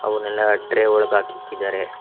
ಅವನಲ್ಲ tray ಒಳಗ್ ಹಾಕಿ ಇಕ್ಕಿದ್ದಾರೆ.